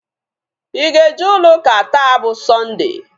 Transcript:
Ị ga-eje ụlọ ụka taa bụ Sọnde?